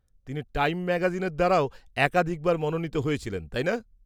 -তিনি টাইম ম্যাগাজিনের দ্বারাও একাধিকবার মনোনীত হয়েছিলেন, তাই না?